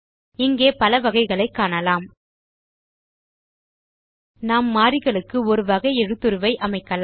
இங்கே பல வகைகளை காணலாம் நாம் மாறிகளுக்கு ஒரு வகை எழுத்துருவை அமைக்கலாம்